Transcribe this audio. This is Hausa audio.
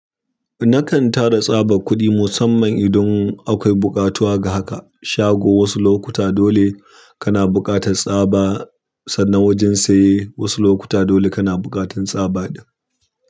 Nakan tara tsaba kuɗi musamman idan akwai buƙatuwa ga haka. Shago wasu lokuta dole kana buƙatar tsaba, sannan wajen saye wasu lokuta dole kana buƙatan tsaba ɗin.